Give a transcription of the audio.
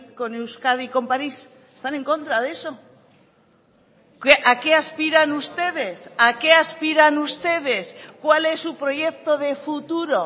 con euskadi con parís están en contra de eso a qué aspiran ustedes a qué aspiran ustedes cuál es su proyecto de futuro